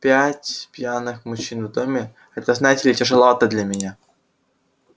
пять пьяных мужчин в доме это знаете ли тяжеловато для меня